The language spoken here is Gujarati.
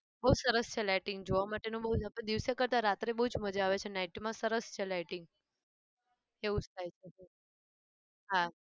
બહુ સરસ છે lighting જોવા માટેનું બહુ જ આપણે દિવસ કરતા રાતે બહુ જ મજા આવે છે night માં સરસ છે lighting એવું જ થાય છે હા